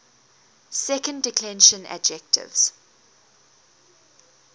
second declension adjectives